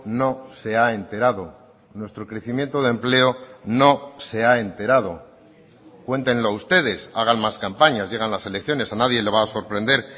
no se ha enterado nuestro crecimiento de empleo no se ha enterado cuéntenlo ustedes hagan más campañas llegan las elecciones a nadie le va a sorprender